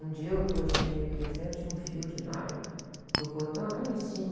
Um dia eu estou assim meio que descendo e tinha um fio de nylon do portão até lá em cima.